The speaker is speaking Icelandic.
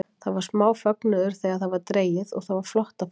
Það var smá fögnuður þegar það var dregið og það var flott að fá þá.